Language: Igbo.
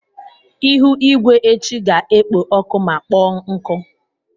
Ihu igwe echi ga-ekpo ọkụ ma kpọọ nkụ.